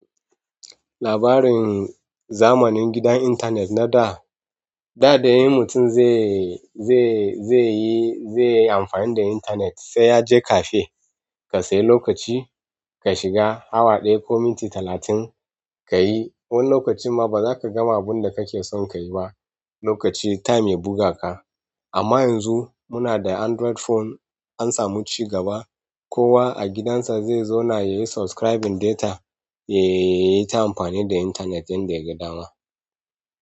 Labarin zamanin gidan intanet nada, da dai mutum zai, zai, zaiyi, zaiyi amfani da intanet sai yaje cafe. Ka sayi lokaci ka shiga, awa ɗaya ko minti talatin kayi. Wani lokacin ma ba zaka gama abinda kakeson kayi ba. Lokaci, time ya buga ka. Amma yanzu munada Android phone, ansamu cigaba. Kowa a gidansa zai zauna yayi subscribing data, yayita amfani da intanet yanda yaga dama.